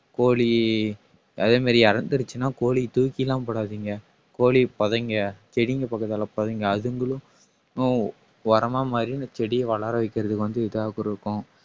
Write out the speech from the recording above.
கோழி அதே மாதிரி இறந்திருச்சுன்னா கோழியை தூக்கி எல்லாம் போடாதீங்க கோழியைப் புதைங்க செடிங்க பக்கத்திலே புதைங்க அதுங்களும் உ~ உரமா மாறி இந்தச் செடிய வளர வைக்கிறதுக்கு வந்து இதா கொடுக்கும்.